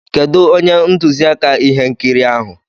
Kedụ onye ntụziaka ihe nkiri ahụ?